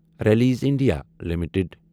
release India limited